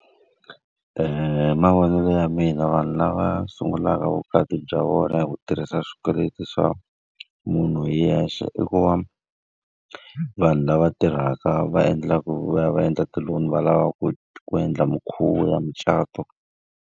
hi mavonelo ya mina vanhu lava sungulaka vukati bya vona hi ku tirhisa swikweleti swa munhu hi yexe i ku, va vanhu lava tirhaka va endlaka ku va ya va endla ti-loan va lavaku ku endla mikhuvo ya micato.